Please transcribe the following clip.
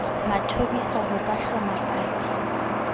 mathobisa ho ka hloma paki